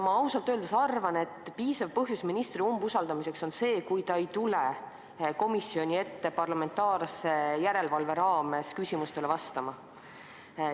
Ma ausalt öeldes arvan, et piisav põhjus ministri umbusaldamiseks on see, kui ta ei tule komisjoni ette parlamentaarse järelevalve raames küsimustele vastama.